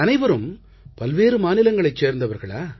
அனைவரும் பல்வேறு மாநிலங்களைச் சேர்ந்தவர்களா